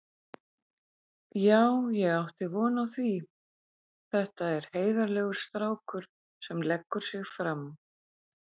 Já ég átti von á því, þetta er heiðarlegur strákur sem leggur sig fram.